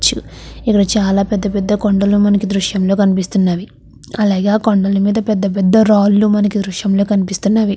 ఇక్కడ చాలా పెద్ద పెద్ద కొండలు మనకు విదృశ్యంలో కనిపిస్తున్నవి. అలాగే ఆ కొండల మీద పెద్ద పెద్ద రాళ్ళు మనకి ఈ దృశ్యం కనిపిస్తున్నవి.